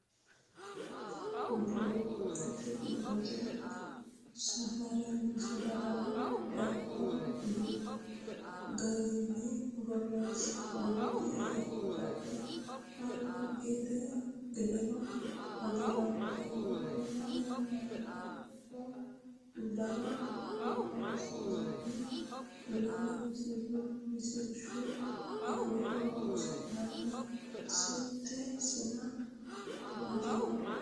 Buuxote Safaraano Fidalla garunni borreessantino Hedote albi gedeno agarantinote Lame aanchitote dana horonsi’noonni Lame misilshu afoo horonsi’noonni Sette sina amaddino.